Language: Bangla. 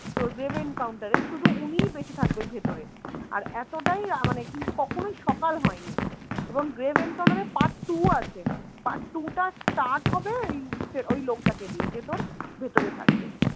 তোর গ্রেভ এনকাউন্টার এ শুধু উনিই বেঁচে থাকবেন ভেতরে আর এতটাই মানে কিন্তু কখনই সকাল হয়নি, এবং গ্রেভ এনকাউন্টার এর part two আছে part two টা start হবে ওই লোকটাকে দিয়ে যে তোর ভেতরে থাকবে